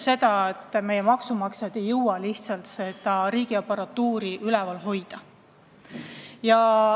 Meie maksumaksjad ei jõua lihtsalt riigiaparatuuri üleval hoida.